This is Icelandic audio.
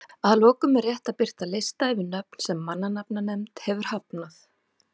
Að lokum er rétt að birta lista yfir nöfn sem mannanafnanefnd hefur hafnað.